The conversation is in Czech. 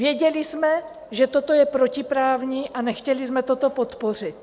Věděli jsme, že toto je protiprávní, a nechtěli jsme to podpořit.